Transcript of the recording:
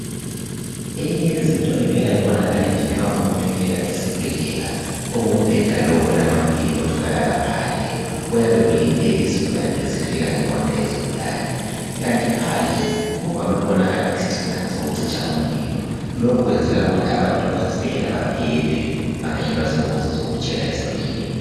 Eyinye yezinto evele ibonakale nje nxa umuntu efika esibhedlela kungumbheda lo olamavili otholakala phandle uyabe ulinde izigulane ezifika ngemota yezigulani ikanti phandle kuvame ukubonakala isingxingana sokucitsha umlilo lokhu kwenzela ukuthi abantu abasesibhedlela baphephe bengayehlelwa zingozi zokutshela esibhedlela